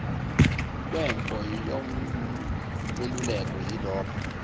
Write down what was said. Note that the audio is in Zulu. kwenpo nomeluleki yilobo